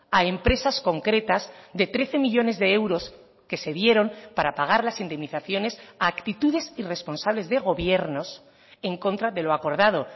a empresas concretas de trece millónes de euros que se dieron para pagar las indemnizaciones a actitudes irresponsables de gobiernos en contra de lo acordado